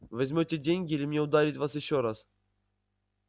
возьмёте деньги или мне ударить вас ещё раз